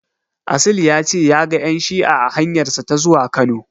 Asil ya ce ya ga ƴan shi'a a hanyarsa ta zuwa Kano.